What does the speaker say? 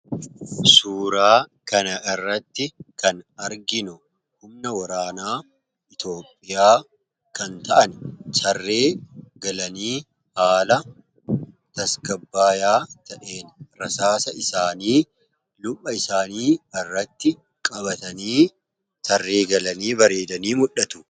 Suuraa kana irratti kan arginu humna waraanaa Itoophiyaa kan ta'an tarree galanii haala tasgabaayaa ta'een rasaasa isaanii luka isaanii irratti qabatanii tarree galanii bareedanii mul'dhatu.